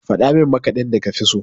Faɗa min maƙadin da kafi so?